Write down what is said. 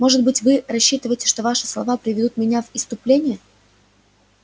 быть может вы рассчитываете что ваши слова приведут меня в исступление